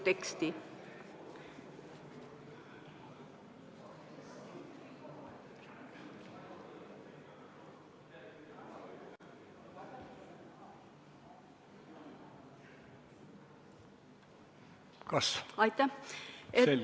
Kas ...?